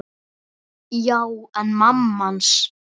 Já, en mamma hans.